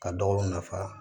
Ka dɔw nafa